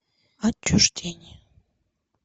отчуждение